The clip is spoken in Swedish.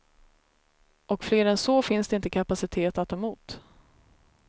Och fler än så finns det inte kapacitet att ta emot.